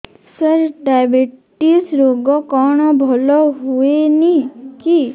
ସାର diabetes ରୋଗ କଣ ଭଲ ହୁଏନି କି